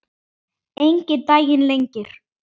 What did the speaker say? Enginn daginn lengir.